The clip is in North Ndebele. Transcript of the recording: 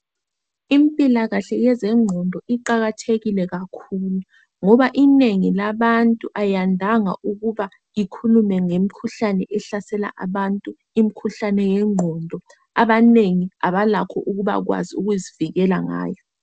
Impilakahle yezengqondo iqakathekile kakhulu ngoba inengi labantu ayandanga ukuba ikhulume ngemikhuhlane ehlasela abantu imkhuhlane yengqondo abanengi abalakho ukubakwazi ukuzivikela ngayo.